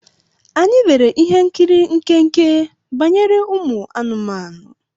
Anyị lere ihe nkiri nkenke banyere ụmụ anụmanụ.